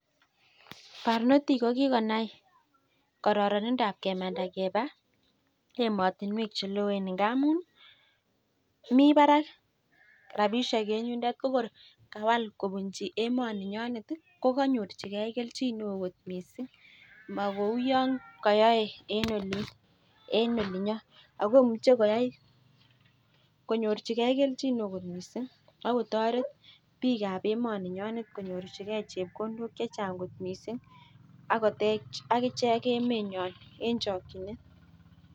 Barnotik ko kikonai kororonindab keba emotinwek che loen ngamunmi barak rabisiek eng yundet ko kor kawal kobunji emoninyonet iih ko konyorjingen kelchin neo kot mising magou yon koyoe eng olinyon akomuche koyai konyorjingen kelchin neo kot mising akotorer bikab emoninyonet konyorjingen chepkondok chechang kot mising akotech agichek emenywan eng chokinet.